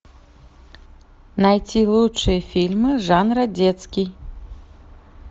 найти лучшие фильмы жанра детский